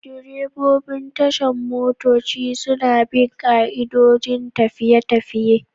Direbobin tashar motoci suna bin ka'idojin tafiya-tafiye.